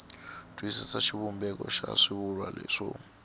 twisisa xivumbeko xa swivulwa swo